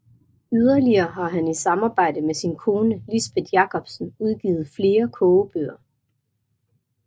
Yderligere har han i samarbejde med sin kone Lisbeth Jacobsen udgivet flere kogebøger